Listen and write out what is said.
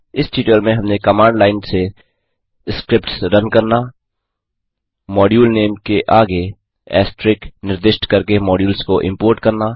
इस ट्यूटोरियल में हमने कमांड लाइन से स्क्रिप्ट्स रन करना 2मॉड्यूल नेम के आगे ऐस्टरिस्क निर्दिष्ट करके मॉड्यूल्स को इम्पोर्ट करना